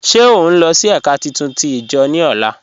Ṣé ọ nlọ sí èká títún tí ijo ni ọlá?